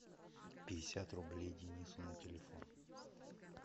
пятьдесят рублей денису на телефон